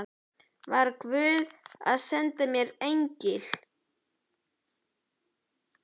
Var guð að senda mér engil?